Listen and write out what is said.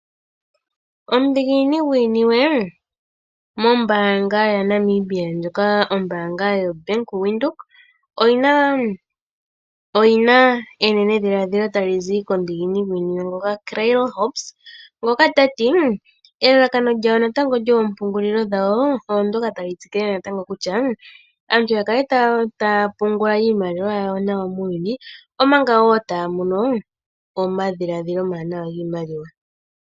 Omudhiginini gwiiniwe mombaanga yaNamibia, ombaanga ndjoka yoBank Windhoek oyi na enendhiladhilo tali zi komudhiginini gwiiniwe Claire Hobbs ngoka ta ti: "elalakano lyoompungulilo dhawo otali tsikile natangoo kutya aantu ya kale taya pungula nawa iimaliwa yawo muuyuni, omanga wo taya mono omadhiladhilo omawanawa giimaliwa."